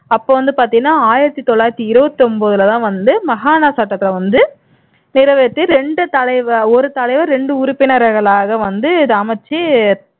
அப்போ வந்து பாத்தீண்ணா ஆயிரத்து தொள்ளாயிரத்து இருபத்தொன்பதில தான் வந்து மஹானா சட்டத்திலே வந்து நிறைவேத்தி இரண்டு தலைவர் ஒரு தலைவர் இரண்டு உறுப்பினர்களாக வந்து இதை அமைச்சு